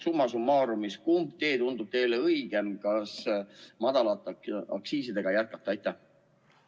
Kumb tee tundub teile summa summarum õigem: kas madala aktsiisiga jätkata või mitte?